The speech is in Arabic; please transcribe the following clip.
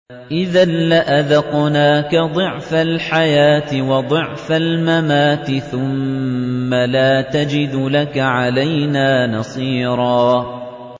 إِذًا لَّأَذَقْنَاكَ ضِعْفَ الْحَيَاةِ وَضِعْفَ الْمَمَاتِ ثُمَّ لَا تَجِدُ لَكَ عَلَيْنَا نَصِيرًا